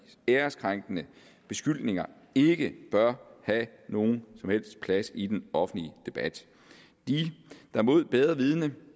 æreskrænkende beskyldninger ikke bør have nogen som helst plads i den offentlige debat de der mod bedre vidende